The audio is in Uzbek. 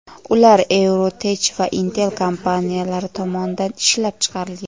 Ular EuroTech va Intel kompaniyalari tomonidan ishlab chiqarilgan.